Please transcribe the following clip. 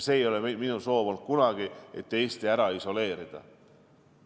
Ja minu soov ei ole kunagi olnud see, et Eestit isoleerida.